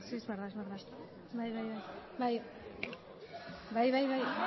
egia da